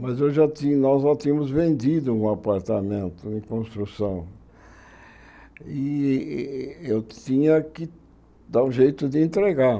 Mas nós já tínhamos vendido um apartamento em construção e eu tinha que dar um jeito de entregar.